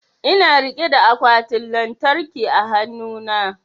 Ina rike da akwatin lantarkin a hanu na